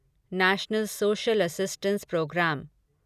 national social assistance programme